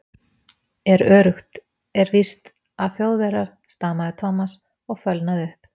Er öruggt, er víst, að Þjóðverjar? stamaði Thomas og fölnaði upp.